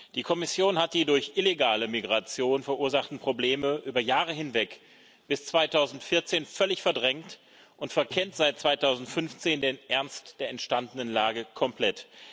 Die Kommission hat die durch illegale Migration verursachten Probleme über Jahre hinweg bis 2014 völlig verdrängt und verkennt seit 2015 den Ernst der entstandenen Lage komplett.